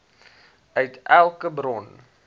uit elke bron